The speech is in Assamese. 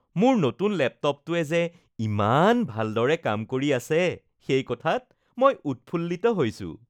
মোৰ নতুন লেপটপটোৱে যে ইমান ভালদৰে কাম কৰি আছে সেই কথাত মই উৎফুল্লিত হৈছো